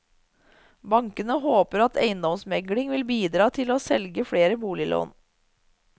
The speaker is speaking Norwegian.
Bankene håper at eiendomsmegling vil bidra til å selge flere boliglån.